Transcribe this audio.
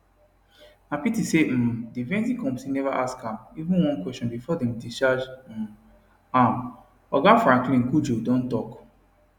na pity say um di vetting committee neva ask am even one question bifor dem discharge um am oga franklin cudjoe don tok